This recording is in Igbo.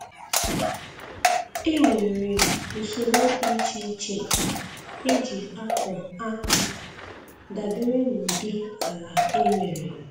E nwere usoro dị iche iche e ji akọ akpụ dabere n'ụdi ala e nwere